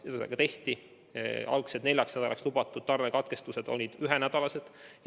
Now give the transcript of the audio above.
Seda ka tehti, algselt neljaks nädalaks lubatud tarnekatkestused olid ühenädalased.